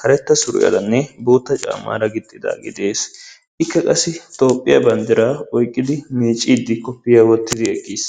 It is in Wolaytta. karetta suriyaaranne bootta caammaaraa gixxidaagee de'ees. Ikka qassi Toophphiyaa banddiraa oyqqidi miicciiddi koppiyya wottidi eqqis.